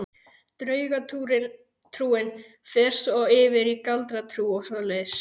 Draugatrúin fer svo yfir í galdratrú og svoleiðis.